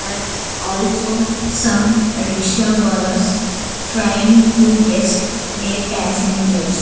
And also some rikshawalas trying to guest a passengers.